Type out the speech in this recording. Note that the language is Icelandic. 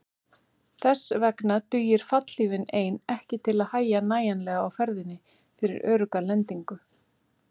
Þess vegna dugir fallhlífin ein ekki til að hægja nægjanlega á ferðinni fyrir örugga lendingu.